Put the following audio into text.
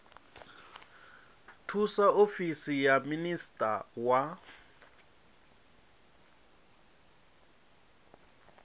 thusa ofisi ya minisia wa